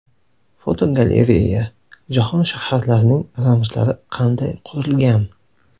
Fotogalereya: Jahon shaharlarining ramzlari qanday qurilgan?.